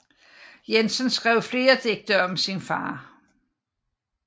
Jensen skrev flere digte om sin far